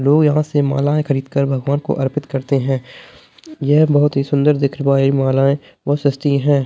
लोग यहा से मलाएँ खरीद कर भगवान को अर्पित करते है ये बहोत ही सुंदर दिखने वाली मालाएँ और सस्ती है।